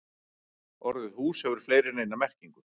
Orðið hús hefur fleiri en eina merkingu.